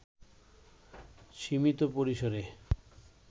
সীমিত পরিসরে